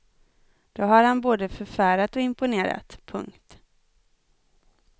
Då har han både förfärat och imponerat. punkt